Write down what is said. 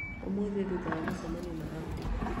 ũmũthĩ nyũma na mũcemanio na abdi